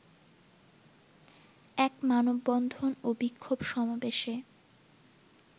এক মানববন্ধন ও বিক্ষোভ সমাবেশে